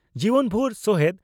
ᱡᱤᱵᱚᱱᱵᱷᱩᱨ ᱥᱚᱦᱮᱫ